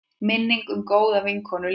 Minning um góða vinkonu lifir.